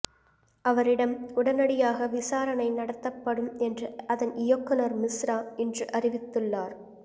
அவரிடம் உடனடியாக விசாரணை நடத்தப்படும் என்று அதன் இயக்குனர் மிஸ்ரா இன்று அறிவித்துள்ளார்